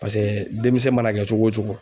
Paseke denmisɛn mana kɛ cogo o cogo